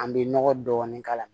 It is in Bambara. An bɛ nɔgɔ dɔɔni k'a la